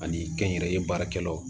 Ani kɛnyɛrɛye baarakɛlaw